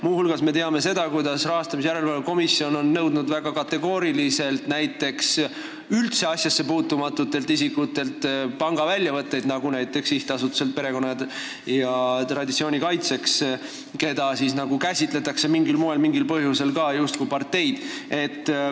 Muu hulgas me teame seda, kuidas Erakondade Rahastamise Järelevalve Komisjon on väga kategooriliselt nõudnud üldse asjassepuutumatutelt isikutelt pangaväljavõtteid, näiteks SA-lt Perekonna ja Traditsiooni Kaitseks, keda käsitletakse mingil põhjusel ka justkui parteid.